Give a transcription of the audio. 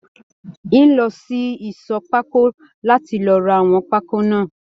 N o lọ sí ìṣọ̀ pákó láti lọ rà àwọn pákó náà.